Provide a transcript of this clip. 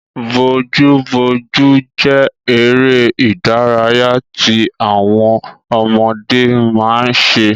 Bojúbojú jẹ́ eré ìdárayá tí àwọn ọmọdé máa ń ṣe